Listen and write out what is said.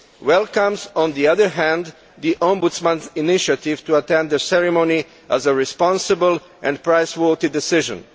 welcomes, on the other hand, the Ombudsman's initiative to attend the ceremony as a responsible and praiseworthy decision'.